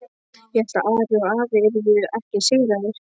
Ég hélt að Ari og afi yrðu ekki sigraðir.